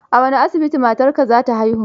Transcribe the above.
A wane asibiti matarka za ta haihu?